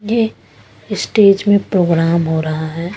ये अ स्टेज में प्रोग्राम हो रहा है।